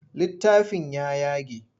Littafin ya yage.